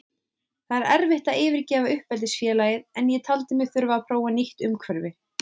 Það er erfitt að yfirgefa uppeldisfélagið en ég taldi mig þurfa að prófa nýtt umhverfi.